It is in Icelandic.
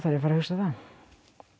fara að hugsa það